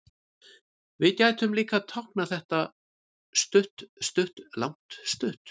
Við gætum líka táknað þetta stutt-stutt-langt-stutt.